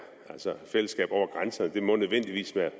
altså fællesskab over grænserne må nødvendigvis være